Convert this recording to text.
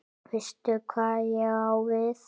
Veistu hvað ég á við?